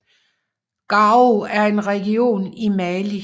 Gao er en region i Mali